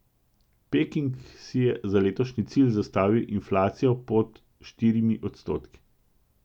Peking si je za letošnji cilj zastavil inflacijo pod štirimi odstotki.